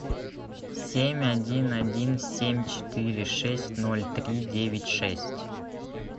семь один один семь четыре шесть ноль три девять шесть